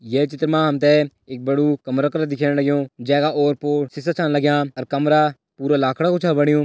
ये चित्र मा हम तैं एक बडू कमरा कर कर लग्युं जै का ओर-पोर शीशा छन लगयां अर कमरा पूरा लाखड़ा कू छ बणयूं।